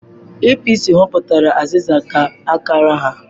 APC họpụtara aziza ka akara ha.